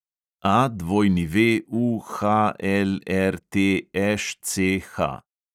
AWUHLRTŠCH